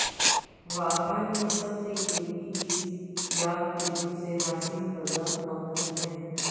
واخان میں سب سے قیمتی چیز یاک کے دودھ سے حاصل کردہ مکھن ہے